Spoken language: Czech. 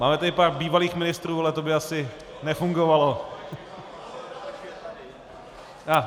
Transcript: Máme tady pár bývalých ministrů, ale to by asi nefungovalo.